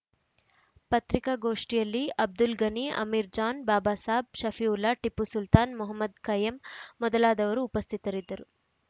ಪತ್ರಿಕಾಗೋಷ್ಠಿಯಲ್ಲಿ ಅಬ್ದುಲ್‌ಗನಿ ಅಮೀರ್‌ ಜಾನ್‌ ಬಾಬಾಸಾಬ್‌ ಷಫಿವುಲ್ಲಾ ಟಿಪ್ಪು ಸುಲ್ತಾನ್‌ ಮೊಹಮ್ಮದ್‌ಖಯ್ಯಂ ಮೊದಲಾದವರು ಉಪಸ್ಥಿತರಿದ್ದರು